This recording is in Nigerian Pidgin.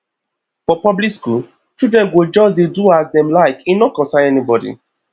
for public skool children go just dey do as dem like e no concern anybodi